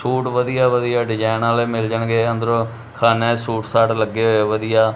Suit ਵਧੀਆ ਵਧੀਆ design ਵਾਲੇ ਮਿਲ ਜਾਣਗੇ ਅੰਦਰੋਂ ਖਾਨਿਆ ਚ ਸੂਟ ਸਾਟ ਲੱਗੇ ਹੋਏ ਵਧੀਆ।